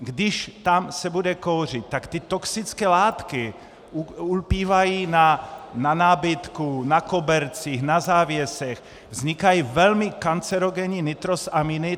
Když tam se bude kouřit, tak ty toxické látky ulpívají na nábytku, na kobercích, na závěsech, vznikají velmi kancerogenní nitrosaminy.